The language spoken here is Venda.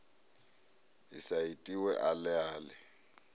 i sa itiwe ale ale